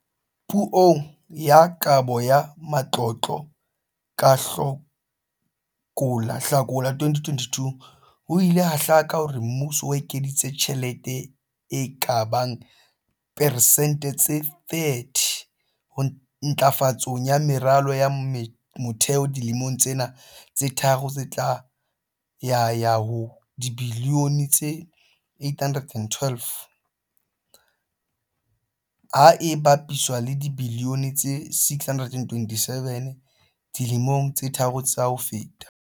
Puong ya Kabo ya Matlotlo ka Hlakola 2022, ho ile ha hlaka hore mmuso o ekeditse tjhelete e ka bang persente tse 30 ntlafatsong ya meralo ya motheo dilemong tsena tse tharo tse tlang ya ya ho dibilione tse 812, ha e bapiswa le dibilione tse 627 dilemong tse tharo tsa ho feta.